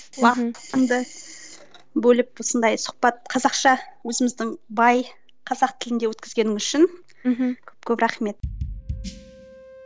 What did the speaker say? уақытыңды бөліп осындай сұхбат қазақша өзіміздің бай қазақ тілінде өткізгенің үшін көп көп рахмет